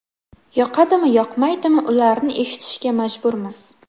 Yoqadimi, yoqmaydimi, ularni eshitishga majburmiz.